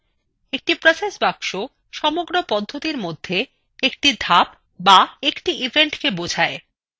একটি process box সমগ্র পদ্ধতিতির মধ্যে একটি ধাপ বা একটি event বোঝায়